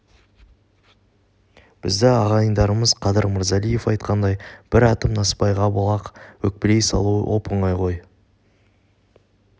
бізді ағайындарымыз қадыр мырзалиев айтқандай бір атым насыбайға бола-ақ өкпелей салуы оп-оңай ғой